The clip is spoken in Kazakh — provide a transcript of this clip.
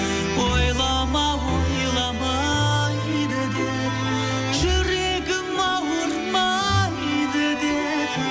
ойлама ойламайды деп жүрегім ауырмайды деп